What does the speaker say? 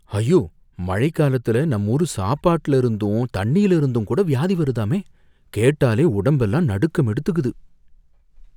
ஐயோ! மழைக்காலத்துல நம்மூரு சாப்பாட்டுல இருந்தும் தண்ணீயில இருந்துங்கூட வியாதி வருதாமே! கேட்டாலே உடம்பெல்லாம் நடுக்கம் எடுத்துக்குது!